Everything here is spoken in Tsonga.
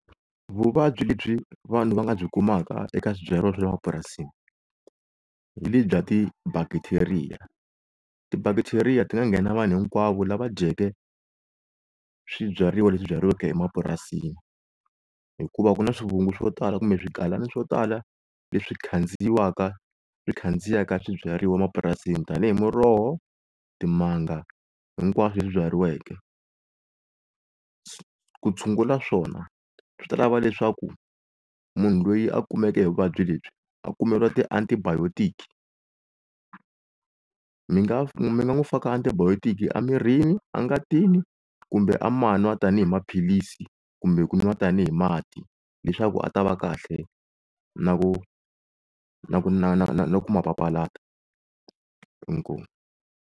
Vuvabyi lebyi vanhu va nga byi kumaka eka swibyariwa swa le mapurasini, hi le byi bya ti bacteria, ti-bacteria ti nga nghena vanhu hinkwavo lava dyeke swibyariwa leswi byariweke emapurasini. Hikuva ku na swivungu swo tala kumbe swigalana swo tala leswi khandziyiwaka swi khandziyaka swibyariwa emapurasini. Tanihi Muroho, Timanga hinkwaswo leswi byariweke. Ku tshungula swona swi ta lava leswaku munhu loyi a kumeke hi vuvabyi lebyi a kumeriwa ti-antibiotic, mi nga mi nga n'wi faka antibiotic a mirini a ngatini, kumbe a ma n'wa tani hi maphilisi kumbe ku n'wa tani hi mati leswaku a ta va kahle na ku na na na na ku ma papalata inkomu.